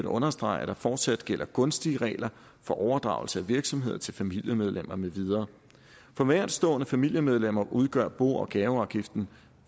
understrege at der fortsat gælder gunstige regler for overdragelse af virksomhed til familiemedlemmer med videre for nærtstående familiemedlemmer udgør bo og gaveafgiften